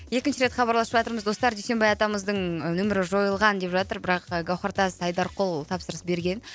екінші рет хабарласып жатырмыз достар дүйсенбай атамыздың нөмірі жойылған деп жатыр бірақ гаухартас айдарқұл тапсырыс берген